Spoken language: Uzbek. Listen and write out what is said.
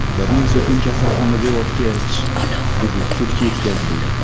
Bir necha kun kasalxonada yotgach, u sudga yetkazildi.